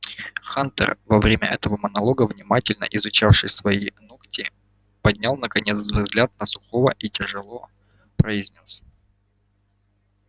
хантер во время этого монолога внимательно изучавший свои ногти поднял наконец взгляд на сухого и тяжело произнёс